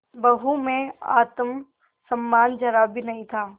बहू में आत्म सम्मान जरा भी नहीं था